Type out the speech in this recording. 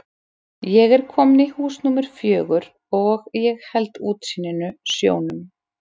Ég er kominn í hús númer fjögur og ég held útsýninu, sjónum.